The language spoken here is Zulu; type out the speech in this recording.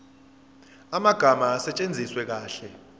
amagama asetshenziswe kahle